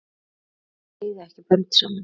Þau eiga ekki börn saman.